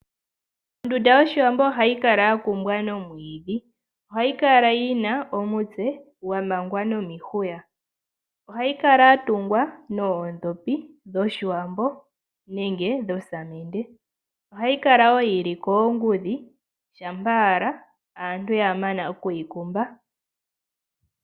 Ondunda yOshiwambo ohayi kala yakumbwa nomwiidhi. Ohayi kala yina omutse gwamangwa nomihuya. Ohayi kala yatungwa noondhopi dhOshiwambo nenge nosamende. Ohayi kala wo yili koongudhi shampa owala aantu ya mana okuyi kumba.